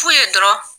Fu ye dɔrɔn